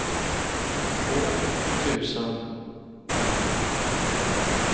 två tusen femtio